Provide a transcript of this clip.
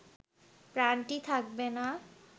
প্রাণটি থাকবে না।